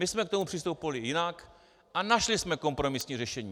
My jsme k tomu přistupovali jinak a našli jsme kompromisní řešení.